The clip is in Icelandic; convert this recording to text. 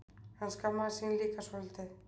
Hann skammaðist sín líka svolítið.